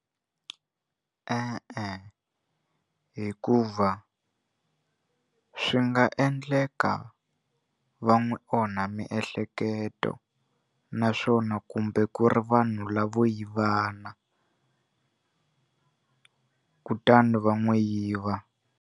E-e hikuva swi nga endleka va n'wi onha miehleketo naswona kumbe ku ri vanhu lavo yivana kutani va n'wi yiva.